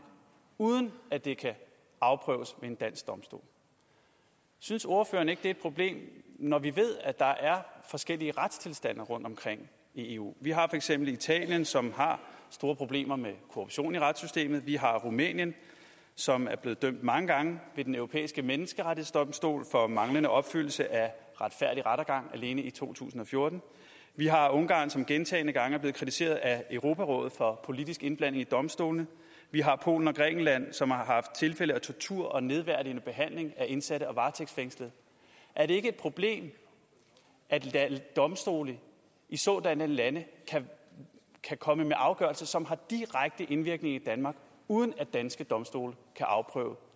uden at det kan afprøves ved en dansk domstol synes ordføreren ikke det er et problem når vi ved at der er forskellige retstilstande rundtomkring i eu vi har for eksempel italien som har store problemer med korruption i retssystemet vi har rumænien som er blevet dømt mange gange ved den europæiske menneskerettighedsdomstol for manglende opfyldelse af retfærdig rettergang alene i to tusind og fjorten vi har ungarn som gentagne gange er blevet kritiseret af europarådet for politisk indblanding i domstolene vi har polen og grækenland som har haft tilfælde af tortur og nedværdigende behandling af indsatte og varetægtsfængslede er det ikke et problem at domstole i sådanne lande kan komme med afgørelser som har direkte indvirkning i danmark uden at danske domstole kan afprøve